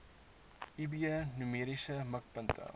eb numeriese mikpunte